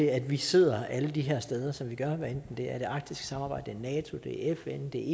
at vi sidder alle de her steder som vi gør hvad enten det er det arktiske samarbejde nato det er fn det